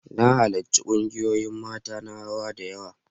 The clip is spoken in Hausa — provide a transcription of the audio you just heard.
Na halarci kungiyoyin mata na rawa da yawa.